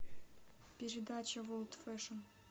передача ворлд фэшн